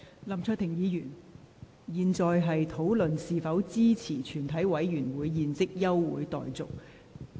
林卓廷議員，現在應討論是否支持全體委員會現即休會待續的議案。